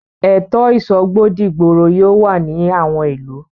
Ètò ìsọgbọ́ dìgboro yóò wà ní àwọn ìlú.